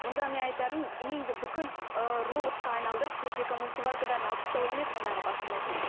мұнда мен айтарым үйіңді бүкіл ііі робатқа айналдырып техника мультиварка бәрін алып тастау емес мұндағы басты мәселе